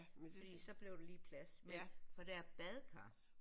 Fordi så blev der lige plads men for der er badekar